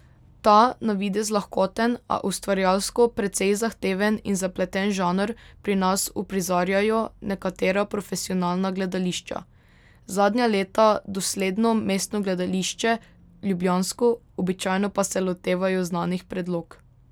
Ta na videz lahkoten, a ustvarjalsko precej zahteven in zapleten žanr pri nas uprizarjajo nekatera profesionalna gledališča, zadnja leta dosledno Mestno gledališče ljubljansko, običajno pa se lotevajo znanih predlog.